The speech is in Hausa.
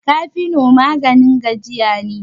cafino maganin gajiya ne